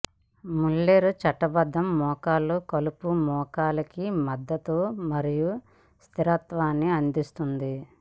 Muller చుట్టబడ్డ మోకాలు కలుపు మోకాలికి మద్దతు మరియు స్థిరత్వాన్ని అందిస్తుంది